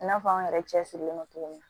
I n'a fɔ an yɛrɛ cɛ sirilen don cogo min na